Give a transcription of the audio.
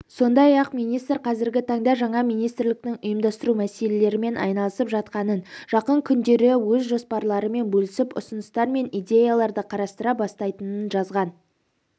сондай-ақ министр қазіргі таңда жаңа министрліктің ұйымдастыру мәселелерімен айналысып жатқанын жақын күндері өз жоспарларымен бөлісіп ұсыныстар мен идеяларды қарастыра бастайтынын жазған